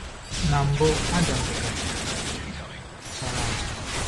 “Na mbụ Adam dị ka peach chara acha.”